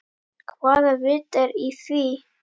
Hvaða vit er í því?